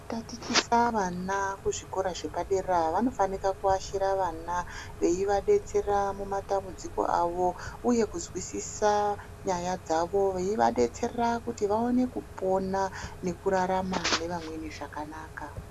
Kutatichisa vana kuzvikora zvepadera vanofana kuashira vana veivadetsera mumatambudziko avo uye kuzwisisa nyaya dzavo veivadetserera kuti vaone kupona nekurarama nevamweni zvakanaka.